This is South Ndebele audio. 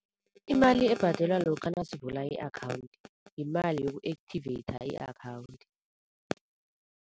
Imali ebhadelwa lokha nasivula i-akhawunthi yimali yoku-activater i-akhawunthi.